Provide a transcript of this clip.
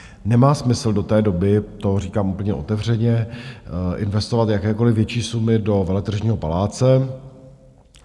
Nemá smysl do té doby - to říkám úplně otevřeně - investovat jakékoliv větší sumy do Veletržního paláce.